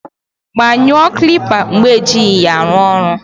Gbanyụọ kilipa mgbe ejighi ya aru oru